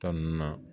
Ta nunnu na